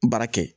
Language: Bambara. Baara kɛ